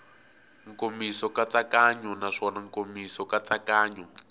nkomiso nkatsakanyo naswona nkomiso nkatsakanyo